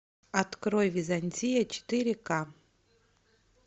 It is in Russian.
открой византия четыре ка